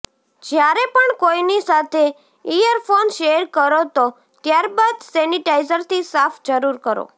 જ્યારે પણ કોઇની સાથે ઇયરફોન શેયર કરો તો ત્યારબાદ સેનિટાઈઝરથી સાફ જરૂર કરો